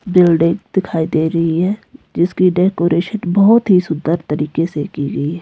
Building दिखाई दे रही है जिसकी डेकोरेशन बहोत ही सुंदर तरीके से की गई है।